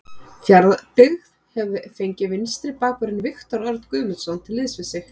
Fjarðabyggð hefur fengið vinstri bakvörðinn Viktor Örn Guðmundsson til liðs við sig.